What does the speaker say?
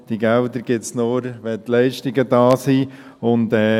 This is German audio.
Diese Gelder gibt es nur, wenn die Leistungen da sind.